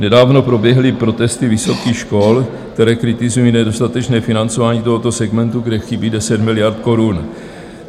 Nedávno proběhly protesty vysokých škol, které kritizují nedostatečné financování tohoto segmentu, kde chybí 10 miliard korun.